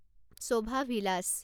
Shobha villus